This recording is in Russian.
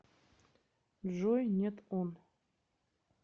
джой нет он